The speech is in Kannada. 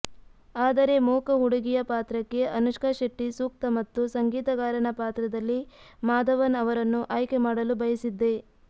ಆದರೆ ಮೂಕ ಹುಡುಗಿಯ ಪಾತ್ರಕ್ಕೆ ಅನುಷ್ಕಾ ಶೆಟ್ಟಿ ಸೂಕ್ತ ಮತ್ತು ಸಂಗೀತಗಾರನ ಪಾತ್ರದಲ್ಲಿ ಮಾಧವನ್ ಅವರನ್ನು ಆಯ್ಕೆ ಮಾಡಲು ಬಯಸಿದ್ದೆ